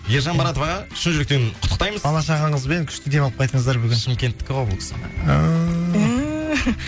ержан баратов аға шын жүректен құттықтаймыз бала шағаңызбен күшті демалып қайтыңыздар бүгін шымкенттікі ғой бұл кісі